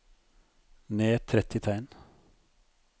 Ned tretti tegn